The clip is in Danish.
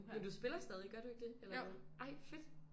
Men du spiller stadig gør du ikke det eller hvad ej fedt